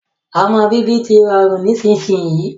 Ọmọ bíbí tí rọrùn nísinsìnyi